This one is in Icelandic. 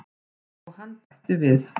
Og hann bætti við.